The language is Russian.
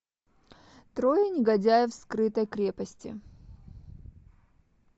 трое негодяев в скрытой крепости